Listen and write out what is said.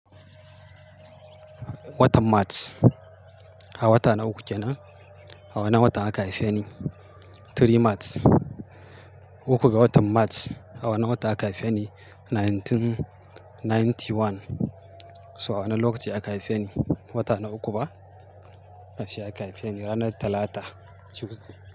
Watan March, a wata na uku kenan, a wannan watan aka haife ni. Three March, uku ga watan March. A wannan watan aka haife ni 1991. To a wannan lokaci aka haife ni, wata na uku ba, a shi aka haife ni ranar Talata, Tuesday.